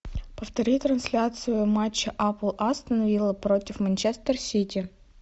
повтори трансляцию матча апл астон вилла против манчестер сити